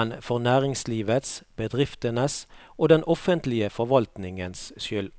men for næringslivets, bedriftenes og den offentlige forvaltningens skyld.